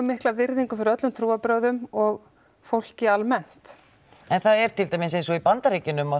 mikla virðingu fyrir öllum trúarbrögðum og fólki almennt en það er til dæmis eins og í Bandaríkjunum að